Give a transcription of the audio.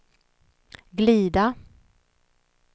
glida